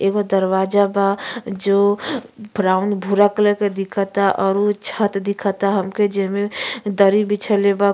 एगो दरवाजा बा जो ब्राउन भूरा कलर के दिखता और उ छत दिखता हमके जेमे दरी बिछइले बा।